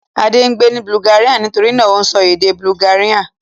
Adé ń gbé ní Bulgaria nitori náà ó ń sọ èdè Bulgaria.